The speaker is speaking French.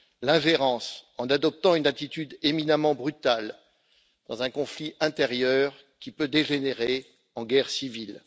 L'ingérence, en adoptant une attitude éminemment brutale dans un conflit intérieur qui peut dégénérer en guerre civile.